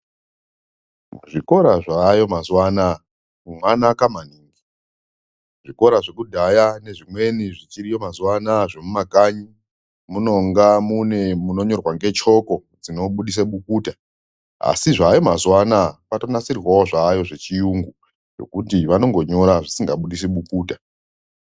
Zvikora zvaayo mazuwa anaya zvanaka maningi ,zvikora zvekudhaya nezvimweni zvichiriyo mazuwa anaa zvekumakanyi munonga mune munonyorwa ngechoko dzinobudisa bukuta , asi zvaayo mazuwa anaa kwakanasirwawo zvayo zvechiyungu ngokuti vanongonyora zvisingabudisi bukuta.